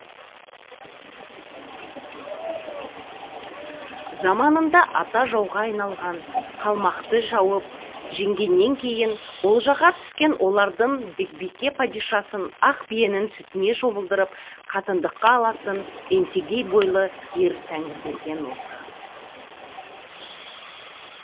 заманында ата жауға айналған қалмақты шауып жеңгеннен кейін олжаға түскен олардың бекбике падишасын ақ биенің сүтіне шомылдырып қатындыққа алатын еңсегей бойлы ер тәңірберген осы